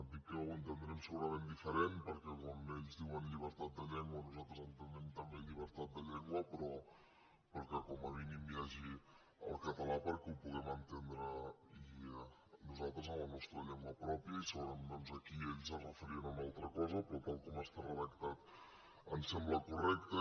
dic que ho entendrem segurament diferent perquè quan ells diuen llibertat de llengua nosaltres ente·nem també llibertat de llengua però que com a mínim hi hagi el català perquè ho puguem entendre nosaltres en la nostra llengua pròpia i segurament aquí ells es referien a una altra cosa però tal com està redactat ens sembla correcte